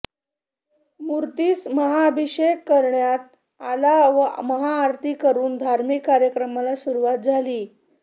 मूर्तीस महाभिषेक करण्यात आला व महाआरती करून धार्मिक कार्यक्रमांना सुरुवात झाली